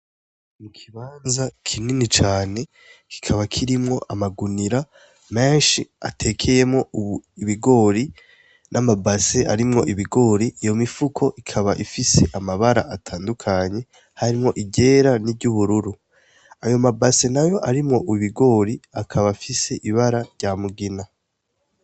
Mu kibanza kinini cane kikaba kirimwo amagunira menshi atekeyemo u ibigori n'amabase arimwo ibigori iyo mifuko ikaba ifise amabara atandukanye harimwo igera ni ry' ubururu ayo mabase na yo arimwo ubigori akaba afise iba bara rya mugina.